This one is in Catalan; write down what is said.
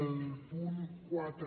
el punt quatre